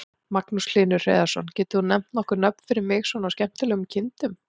Magnús Hlynur Hreiðarsson: Getur þú nefnt nokkur nöfn fyrir mig svona á skemmtilegum kindum?